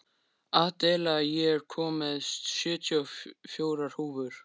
Adela, ég kom með sjötíu og fjórar húfur!